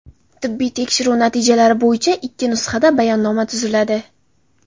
Tibbiy tekshiruv natijalari bo‘yicha ikki nusxada bayonnoma tuziladi.